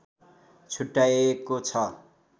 छुट्याएको छ